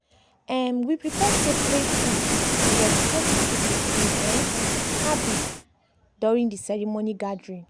um we prepare separate food to respect dey people food um habits during dey ceremony gathering.